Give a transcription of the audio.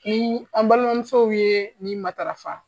Ni an balimamusow ye nin matarafa